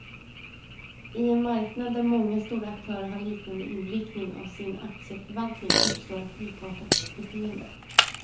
I en marknad där många stora aktörer har liknande inriktning av sin aktieförvaltning, uppstår ett likartat beteende.